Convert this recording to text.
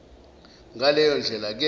ngaleyo ndlela ke